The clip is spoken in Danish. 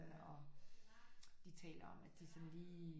Og de taler om at de sådan lige